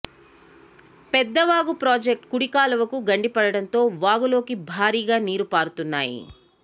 పెద్ద వాగు ప్రాజెక్టు కుడి కాలువకు గండిపడటంతో వాగులోకి భారీగా నీరు పారుతున్నాయి